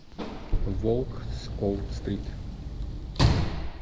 волк с уолл стрит